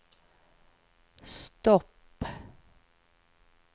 stopp